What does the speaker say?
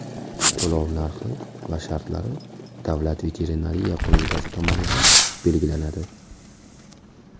To‘lov narxi va shartlari Davlat veterinariya qo‘mitasi tomonidan belgilanadi.